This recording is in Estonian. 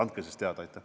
Andke siis teada!